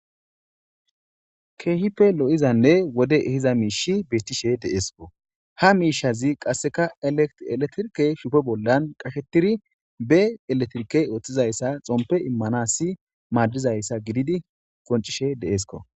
keehipe lo7izanne wode ehiza miishi bettishe deeskko ha miishazi qasseka eletrke shufe bollan qashettiri be eletrike ooththizayssa xompe immanasi maadizayssa gididi qoncishe deesko